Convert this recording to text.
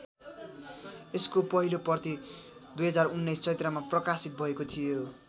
यसको पहिलो प्रति २०१९ चैत्रमा प्रकाशित भएको थियो।